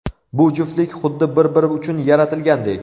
Bu juftlik xuddi bir-biri uchun yaratilgandek!